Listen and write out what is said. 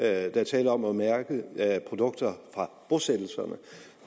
er tale om at mærke produkter fra bosættelserne